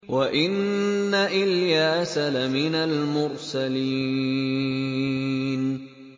وَإِنَّ إِلْيَاسَ لَمِنَ الْمُرْسَلِينَ